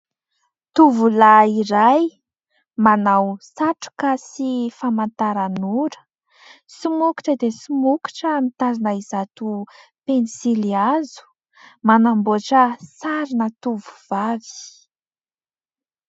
Tovolahy iray, manao satroka sy famantaranora. Somokotra dia somokotra mitazona izato pensilihazo. Manamboatra sarina tovovavy.